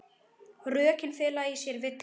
Rökin fela í sér villu.